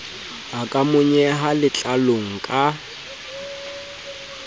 a ka monyeha letlalong ka